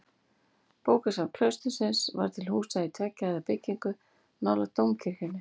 Bókasafn klaustursins var til húsa í tveggja hæða byggingu nálægt dómkirkjunni.